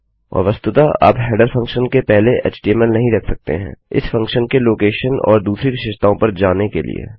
और वस्तुतः आप हेडर फंक्शन के पहले एचटीएमएल नहीं रख सकते हैंइस फंक्शनके लोकेशनऔर दूसरी विशेषताओं पर जाने के लिए